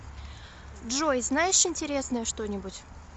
джой знаешь интересное что нибудь